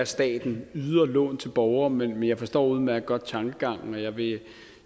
staten yder lån til borgere men jeg forstår udmærket godt tankegangen og jeg vil